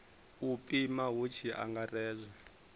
u pima hu tshi angaredzwa